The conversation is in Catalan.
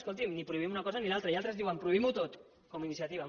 escolti’m ni prohibim una cosa ni una altra i altres diuen prohibim ho tot com iniciativa